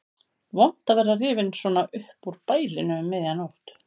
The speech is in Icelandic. Vont að vera rifinn svona upp úr bælinu um miðja nótt.